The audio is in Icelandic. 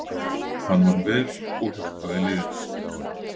Hann vann vel og hjálpaði liðinu